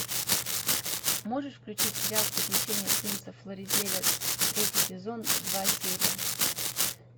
можешь включить сериал приключения принца флоризеля третий сезон два серия